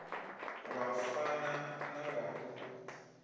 wa fana na wa u